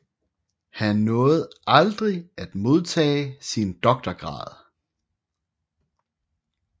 Han nåede aldrig at modtage sin doktorgrad